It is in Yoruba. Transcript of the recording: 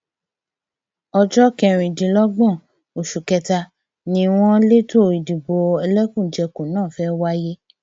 ọjọ kẹrìndínlọgbọn oṣù kẹta ni wọn lẹtọ ìdìbò ẹlẹkùnjẹkùn náà fẹẹ wáyé